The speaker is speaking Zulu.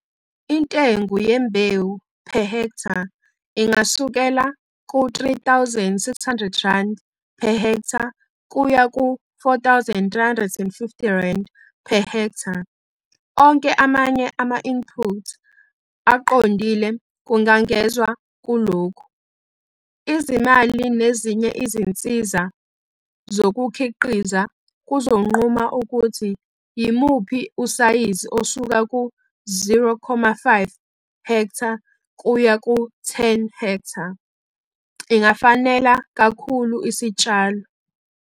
Intengo yembewu per ha ingasukela ku-R3 600 per ha kuya ku-R4 350 per ha. Onke amanye ama-input aqondile kungangezwa kulokhu. Izimali nezinye izinsiza zokukhiqiza kuzonquma ukuthi yimuphi usayizi osuka ku-0,5 ha kuya ku-10 ha ingafanela kakhulu isitshalo.